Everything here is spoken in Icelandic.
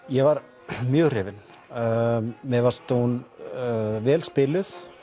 ég var mjög hrifinn mér fannst hún vel spiluð